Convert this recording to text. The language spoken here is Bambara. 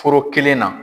Foro kelen na